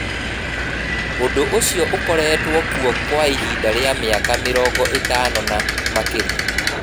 Ũndũ ũcio ũkoretwo kuo kwa ihinda rĩa mĩaka mĩrongo ĩtano na makĩria.